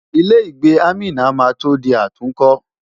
Ilé-ìgbé Amina máa tó di àtúnkọ́.